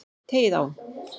Teygið á.